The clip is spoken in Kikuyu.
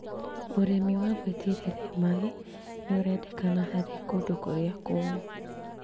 ũrĩmi wa gwĩitĩrĩria maĩ nĩũrendekana harĩ kũndũ kũrĩa kũmũ